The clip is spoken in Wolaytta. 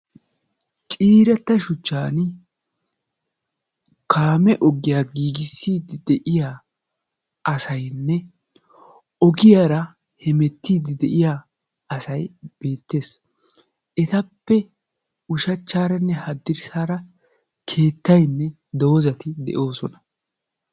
Ciiretta shuchchan kaame oggiya giiggissidi de'iya asaynne ogiyaara hemettiidi de'iya asay beettees. Etappe ushshachchaaranne haddirssaara keettaynne doozati de'oosona.